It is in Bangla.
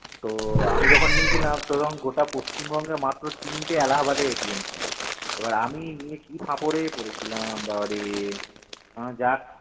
তো আমি যখন নিয়ে ছিলাম তখন গোটা পশ্চিমবঙ্গে মাত্র তিনটে এলাহাবাদের ছিল এবার আমি নিয়ে কি ফাঁপরে পড়েছিলাম বাবা রে যাক